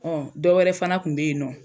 Ɔ dɔ wɛrɛ fana kun be yen nɔ